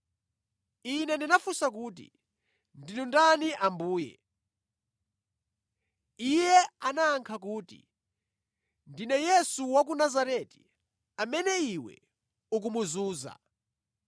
Ine ndinafunsa kuti, “Ndinu ndani Ambuye?” Iye anayankha kuti, “Ndine Yesu wa ku Nazareti, amene iwe ukumuzunza.”